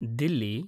Delhi